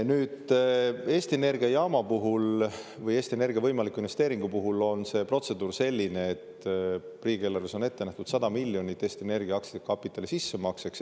Nüüd, Eesti Energia jaama puhul või Eesti Energia võimaliku investeeringu puhul on protseduur selline, et riigieelarves on ette nähtud 100 miljonit Eesti Energia aktsiakapitali sissemakseks.